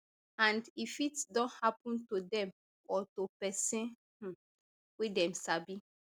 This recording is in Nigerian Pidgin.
and e fit don happun to dem or to pesin um wey dem sabi